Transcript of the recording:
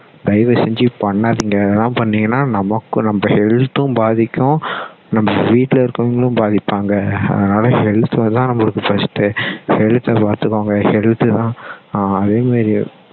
தயவு செஞ்சு பண்ணாதீங்க இதெல்லாம் பண்ணீங்கன்னா நமக்கும் நம்ம health உம் பாதிக்கும் நம்ம வீட்டுல இருக்குறவங்களும் பாதிப்பாங்க அதனால health தான் நமக்கு first டு health த பார்த்துகொங்க health தான் அதே மாதிரி